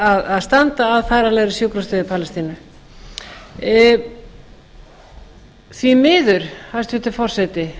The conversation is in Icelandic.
að standa að færanlegri sjúkrastöð í palestínu því miður hæstvirtur forseti